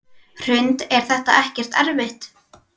Hrund: Er þetta ekkert erfitt?